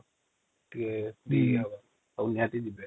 ନିହାତି ଜୀବେ |